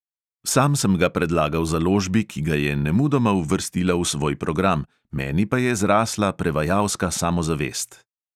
Sam sem ga predlagal založbi, ki ga je nemudoma uvrstila v svoj program, meni pa je zrasla prevajalska samozavest.